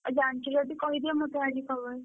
ଆଉ ଜାଣିଛ ଯଦି କହିଦିଅ ମତେ ଆଜି ଖବର।